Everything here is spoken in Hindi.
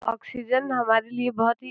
ऑक्सीजन हमारे लिए बहुत ही --